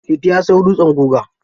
Liti ya sayo dutsen guga.